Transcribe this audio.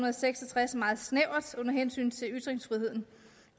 og seks og tres meget snævert under hensyn til ytringsfriheden